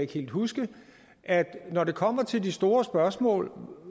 helt huske at når det kommer til de store spørgsmål